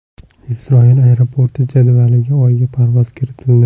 Isroil aeroporti jadvaliga Oyga parvoz kiritildi.